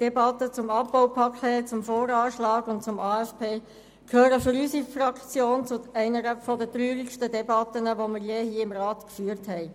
Debatte zum Abbaupaket, zum VA und zum AFP, gehört für unsere Fraktion zu einer der traurigsten Debatten, die wir je hier im Rat geführt haben.